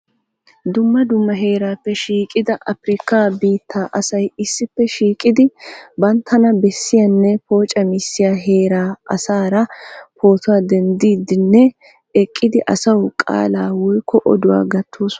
dumma dumma heeraappe shiiqida afrikaa bitaa asay issippe shiiqidi bantana bessiyanne poocamissiya heeraa asaara pootuwa dendiidinne eqqidi asawu qalaa oykko oduwa gatoosona.